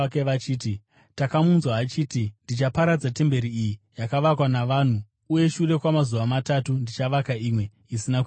“Takamunzwa achiti, ‘Ndichaparadza temberi iyi yakavakwa navanhu uye shure kwamazuva matatu ndichavaka imwe, isina kuitwa navanhu.’ ”